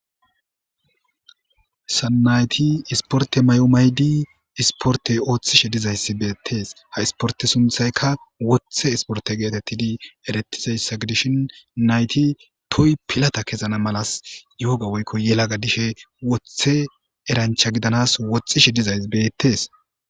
Sanayti isporte may7omaydi isporte ooththishe dizayssi beettees ha isporte sunthayka woththe isporte geetettidi eretizayssa gedishin nayti toy pilata kezana malas yooga woykko yelaga dishe woththe erancha gidanas wothishe dizays beettees.